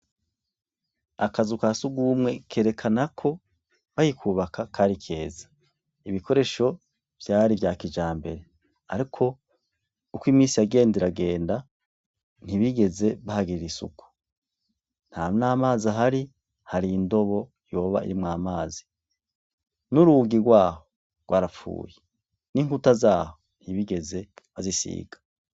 Akazu kasugumwe kerekana ko bakikubaka Kari keza .ibikoresho vyari vya kijambere ariko uko imisi yagenda iragenda ntibigeze bahagirira isuku nta n'amazi ahari hari indobo yoba iri mwamazi n'urugi rwaho rwarapfuye n'inkuta zaho ntibigeze bazisiga.